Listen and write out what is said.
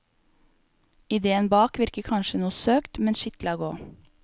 Ideen bak virker kanskje noe søkt, men skitt la gå.